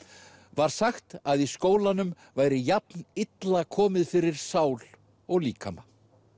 var sagt að í skólanum væri jafn illa komið fyrir sál og líkama